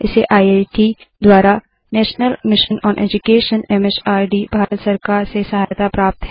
इसे I C T द्वारा national mission on education M H R D Bharat सरकार से सहायता प्राप्त है